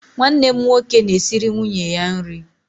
Nwanne m nwoke na-esiri nwunye ya nri.